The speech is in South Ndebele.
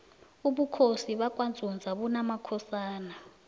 ubukhosi bakwanzunza bunamakhosana